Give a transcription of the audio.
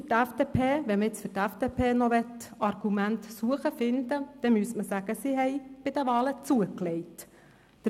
Wenn man für die FDP noch Argumente finden will, muss man sagen, dass sie bei den Wahlen zugelegt hat.